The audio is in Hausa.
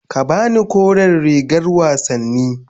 Ka ba ni kore rigar wasanni.